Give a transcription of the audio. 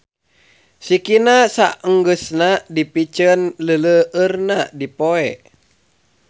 Sikina saenggeusna dipiceun leuleueurna dipoe.